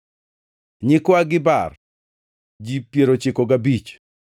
nyikwa Gibar, ji piero ochiko gabich (95),